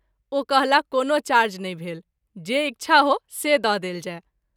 ओ कहला कोनो चार्ज नहिं भेल जे इच्छा हो से द’ देल जाय।